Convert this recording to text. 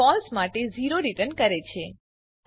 હવે હું ઉદાહરણની મદદથી લોજીકલ ઓપરેટરો સમજાવીશ